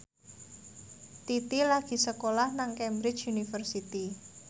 Titi lagi sekolah nang Cambridge University